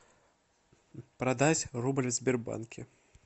продать рубль в сбербанке